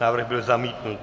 Návrh byl zamítnut.